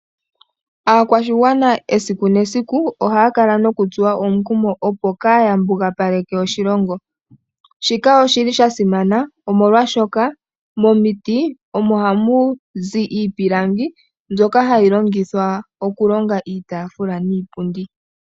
Aakwashigwana esiku nesiku ohaya kala nokutsuwa omukumo opo kaaya mbugaleke oshilongo. Shika oshili sha simana omolwashoka momiti omo hamu zi iipilangi mbyoka hayi longithwa okulonga iitaafula niipundi.